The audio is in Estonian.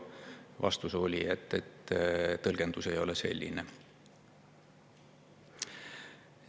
Vastus oli, et tõlgendus ei ole selline.